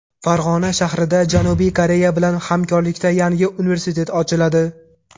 Farg‘ona shahrida Janubiy Koreya bilan hamkorlikda yangi universitet ochiladi.